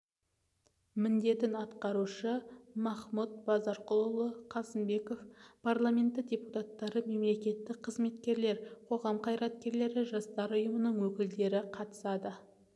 міндетін атқарушы махмұт базарқұлұлы қасымбеков парламенті депутаттары мемлекеттік қызметкерлер қоғам қайраткерлері жастар ұйымдарының өкілдері қатысады